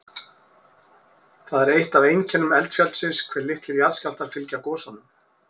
Það er eitt af einkennum eldfjallsins hve litlir jarðskjálftar fylgja gosunum.